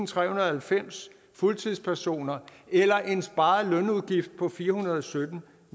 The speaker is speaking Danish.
tretten halvfems fuldtidspersoner eller en sparet lønudgift på fire hundrede og sytten